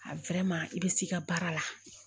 i bɛ s'i ka baara la